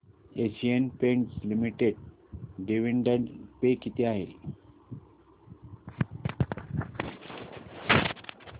Asian Paints Limited dividend pay किती आहे